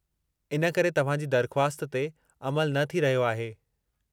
इन करे तव्हांजी दरख़्वास्त ते अमलु न थी रहियो आहे।